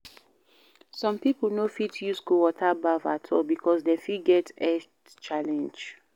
some pipo no fit use cold water baff at all because dem fit get health challenge